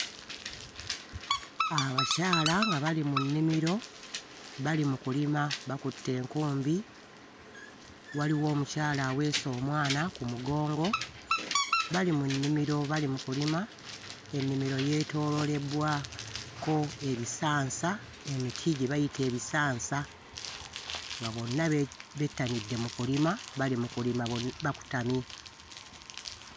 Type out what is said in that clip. Abakyala nga bali mu nnimiro bali mu kulima bakutte enkumbi. Waliwo omukyala aweese omwana ku mugongo, bali mu nnimiro bali mu kulima, ennimiro yeetooloolebbwako ebisansa, emiti gye bayita ebisansa nga bonna be... bettanidde mu kulima bali mu kulima bakutamye.